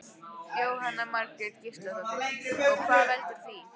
Jóhanna Margrét Gísladóttir: Og hvað veldur því?